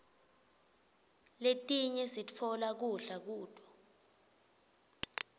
letinye sitfola kudla kuto